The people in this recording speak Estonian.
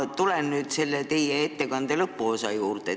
Ma tulen nüüd teie ettekande lõpuosa juurde.